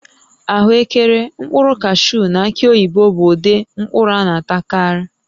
Ahụekere, mkpụrụ kashuu na aki oyibo bụ ụdị mkpụrụ a na-atakarị